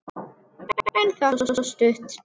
En það stóð stutt.